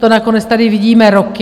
To nakonec tady vidíme roky.